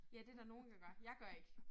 Ja det der nogen der gør. Jeg gør ikke